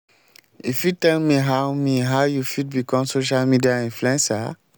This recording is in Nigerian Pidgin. you fit tell me how me how you fit become social media influencer?